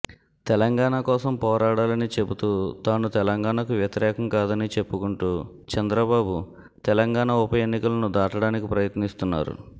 తెలంగాణ కోసం పోరాడాలని చెబుతూ తాను తెలంగాణకు వ్యతిరేకం కాదని చెప్పుకుంటూ చంద్రబాబు తెలంగాణ ఉప ఎన్నికలను దాటడానికి ప్రయత్నిస్తున్నారు